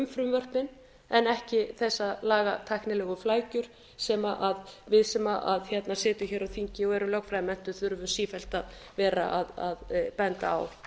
frumvörpin en ekki þessar lagatæknilegu flækjur sem við sem sitjum hér á þingi og erum lögfræðimenntuð þurfum sífellt að vera að benda á